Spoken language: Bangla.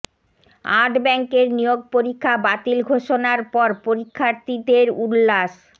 আট ব্যাংকের নিয়োগ পরীক্ষা বাতিল ঘোষণার পর পরীক্ষার্থীদের উল্লাস